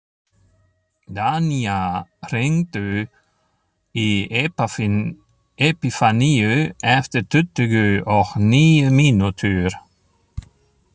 Danía, hringdu í Epifaníu eftir tuttugu og níu mínútur.